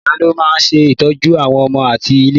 Ìyá ló máa ń ṣe ìtọ́jú àwọn ọmọ ati ìlé.